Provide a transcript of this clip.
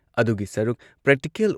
ꯑꯗꯨꯒꯤ ꯁꯔꯨꯛ ꯄ꯭ꯔꯦꯛꯇꯤꯀꯦꯜ